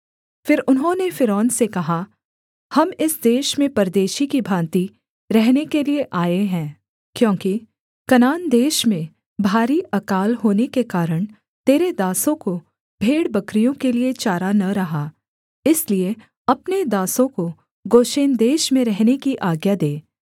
फिर उन्होंने फ़िरौन से कहा हम इस देश में परदेशी की भाँति रहने के लिये आए हैं क्योंकि कनान देश में भारी अकाल होने के कारण तेरे दासों को भेड़बकरियों के लिये चारा न रहा इसलिए अपने दासों को गोशेन देश में रहने की आज्ञा दे